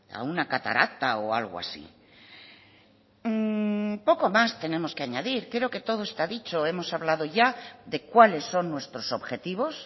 a una catarata o algo así poco más tenemos que añadir creo que todo está dicho hemos hablado ya de cuáles son nuestros objetivos